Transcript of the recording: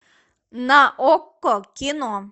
на окко кино